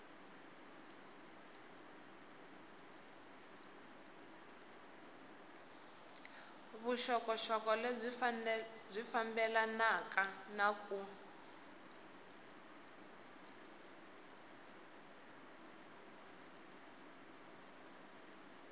vuxokoxoko lebyi fambelanaka na ku